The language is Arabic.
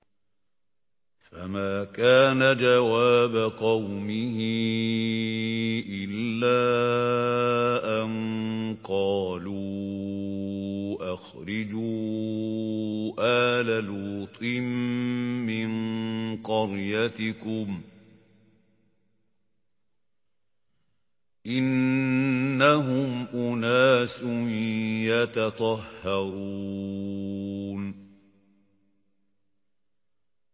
۞ فَمَا كَانَ جَوَابَ قَوْمِهِ إِلَّا أَن قَالُوا أَخْرِجُوا آلَ لُوطٍ مِّن قَرْيَتِكُمْ ۖ إِنَّهُمْ أُنَاسٌ يَتَطَهَّرُونَ